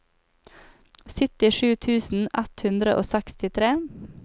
syttisju tusen ett hundre og sekstitre